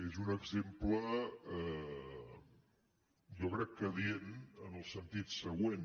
és un exemple jo crec que adient en el sentit següent